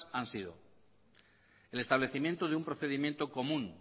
han sido el establecimiento de un procedimiento común